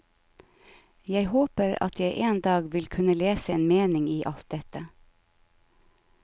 Jeg håper at jeg en dag vil kunne lese en mening i alt dette.